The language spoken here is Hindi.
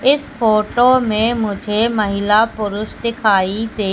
इस फोटो में मुझे महिला पुरुष दिखाई दे--